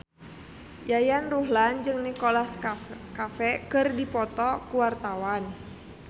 Yayan Ruhlan jeung Nicholas Cafe keur dipoto ku wartawan